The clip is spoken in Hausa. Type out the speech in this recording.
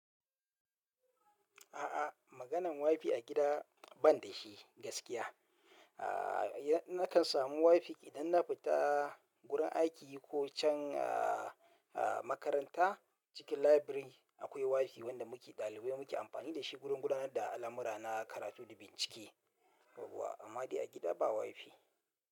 A'a, maganan wifi a gida ban da shi gaskiya. A nakan samu wifi idan na fita wurin aiki ko can a, a makaranta. Cikin library akwai wifi wanda muke ɗalibai muke amfani da shi wurin gudanar da al'amura na karatu da bincike. Amma dai a gida ba wifi.